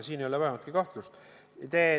Selles ei ole vähimatki kahtlust.